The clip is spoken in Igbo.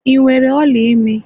ị nwere ola imi?